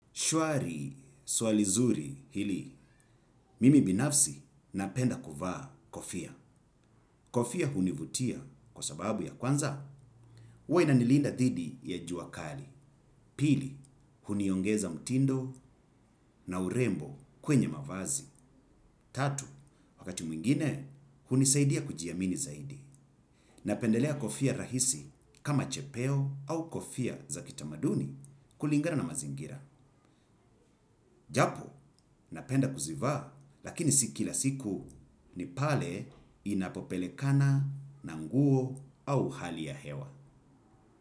Shwari, swali zuri hili, mimi binafsi napenda kuvaa kofia. Kofia hunivutia kwa sababu ya kwanza, uwe ina nilinda dhidi ya jua kali. Pili, huniongeza mtindo na urembo kwenye mavazi. Tatu, wakati mwingine, hunisaidia kujiamini zaidi. Nspendelea kofia rahisi kama chepeo ama kofia za kitaduni kulingana na mazingira. Japo, napenda kuzivaa, lakini si kila siku ni pale ninapopelekana na nguo au hali ya hewa.